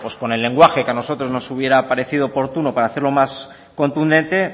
con el lenguaje que a nosotros nos hubiera parecido oportuno para hacerlo más contundente